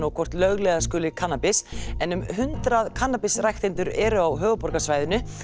og hvort lögleiða skuli hana en um hundrað kannabisræktendur eru á höfuðborgarsvæðinu